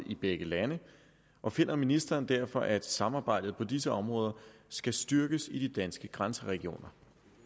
i begge lande og finder ministeren derfor at samarbejdet på disse områder skal styrkes i de danske grænseregioner